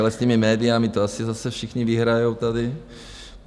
Ale s těmi médii to asi zase všichni vyhrajou tady.